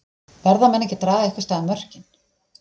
Verða menn ekki að draga einhvers staðar mörkin?